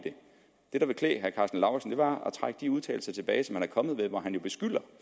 det det klæde herre karsten lauritzen var at trække de udtalelser tilbage som han er kommet med hvor han jo beskylder